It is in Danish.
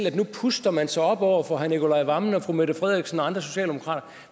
at nu puster man sig op over for herre nicolai wammen og fru mette frederiksen og andre socialdemokrater